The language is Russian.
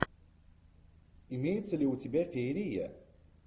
имеется ли у тебя феерия